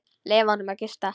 Leyfa honum að gista.